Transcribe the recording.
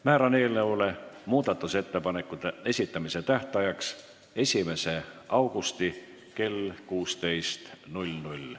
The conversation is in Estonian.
Määran muudatusettepanekute esitamise tähtajaks 1. augusti kell 16.